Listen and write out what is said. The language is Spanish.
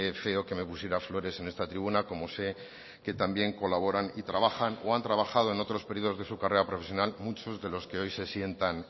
feo que me pusiera flores en esta tribuna como sé que también colaboran y trabajan o han trabajado en otros periodos de su carrera profesional muchos de los que hoy se sientan